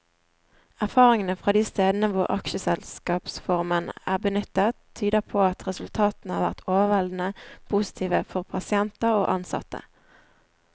Erfaringene fra de stedene hvor aksjeselskapsformen er benyttet, tyder på at resultatene har vært overveldende positive for pasienter og ansatte.